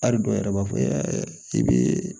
Ari dɔw yɛrɛ b'a fɔ i bɛ